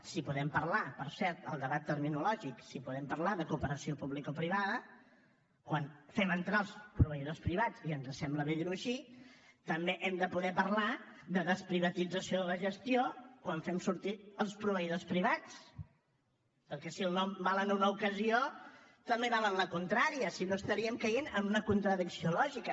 si podem parlar per cert del debat terminològic si podem parlar de cooperació publicoprivada quan fem entrar els proveïdors privats i ens sembla bé dir ho així també hem de poder parlar de desprivatització de la gestió quan fem sortir els proveïdors privats perquè si el nom val en una ocasió també val en la contrària si no estaríem caient en una contradicció lògica